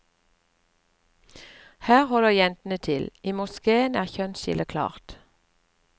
Her holder jentene til, i moskéen er kjønnsskillet klart.